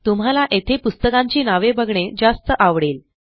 तुम्हाला येथे पुस्तकांची नावे बघणे जास्त आवडेल